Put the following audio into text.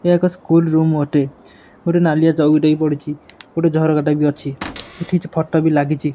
ଏହା ଏକ school room ଅଟେ। ଗୋଟେ ନାଲିଆ ଚୌକିଟେ ବି ପଡିଚି। ଗୋଟେ ଝରକା ଟାଇପ୍ ବି ଅଛି। ସେଠି କିଛି ଫଟ ବି ଲାଗିଚି।